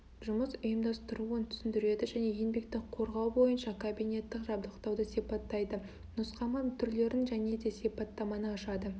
жұмыс ұйымдастыруын түсіндіреді және еңбекті қорғау бойынша кабинетті жабдықтауды сипаттайды нұсқама түрлерін және де сипаттаманы ашады